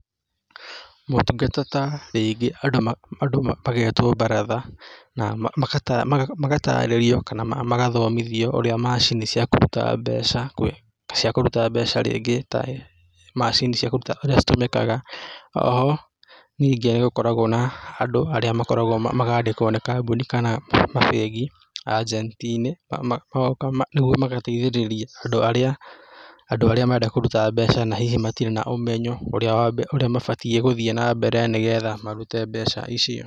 Motungata ta rĩngĩ andũ magetwo mbaratha na, na magatarĩrio kana magathomithio ũrĩa macini cia kũruta mbeca, cia kũruta mbeca rĩngĩ tamacini cia kũruta iria citũmĩkaga. O ho nyingĩ nĩ gũkoragwo na andũ arĩa makoragwo, makandĩkwo nĩ kambuni kana mabengi ajenti-inĩ magoka nĩguo magateithĩrĩria andũ arĩa, andũ arĩa marenda kũruta mbeca na hihi matirĩ na ũmenyo ũrĩa mabatiĩ gũthiĩ na mbere nĩgetha marute mbeca icio.